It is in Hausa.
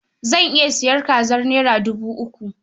Zan iya sayan kazar naira dubu uku.